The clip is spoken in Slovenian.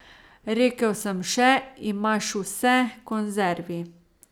Rekel sem še: "Imaš vse, konzervi?